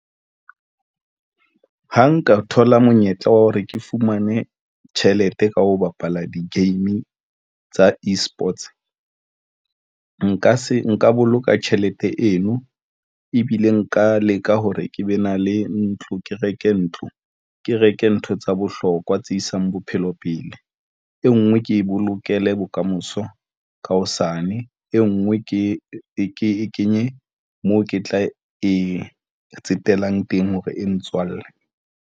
Ha nka thola monyetla wa hore ke fumane tjhelete ka ho bapala di game tsa e-Sports, nka se nka boloka tjhelete eno ebile nka leka hore ke be na le ntlo, ke reke ntlo, ke reke ntho tsa bohlokwa tse isang bophelo pele, e nngwe ke bolokele bokamoso ka hosane e ngwe ke e kenye moo ke tla e tsetelang teng hore e ntswalle.